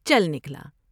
چل نکلا ۔